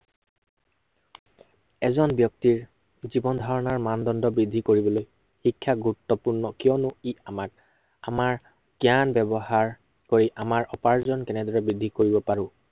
এজন ব্য়ক্তিৰ জীৱন ধাৰনৰ মানদণ্ড বৃদ্ধি কৰিবলৈ শিক্ষা গুৰুত্বপূৰ্ণ। কিয়নো ই আমাক, আমাৰ জ্ঞান ব্য়ৱহাৰ কৰি আমাৰ উপাৰ্জন কেনেদৰে বৃদ্ধি কৰিব পাৰো